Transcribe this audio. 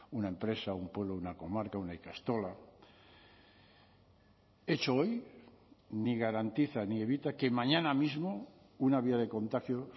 una empresa un pueblo una comarca una ikastola hecho hoy ni garantiza ni evita que mañana mismo una vía de contagio